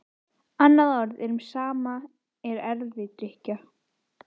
Tryggingaverndin nær ekki til allra atvika.